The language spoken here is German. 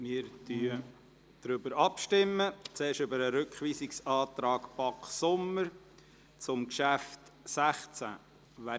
Wir stimmen ab, und zwar zuerst über den Rückweisungsantrag BaK/Sommer zum Traktandum 16.